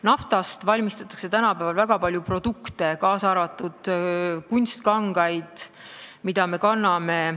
Naftast valmistatakse tänapäeval väga palju produkte, kaasa arvatud kunstkangaid, mida me kanname.